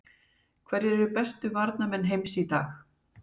Hverjir eru bestu varnarmenn heims í dag?